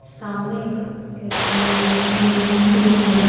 सामने एक म्यूज म्यूजिक रूम है।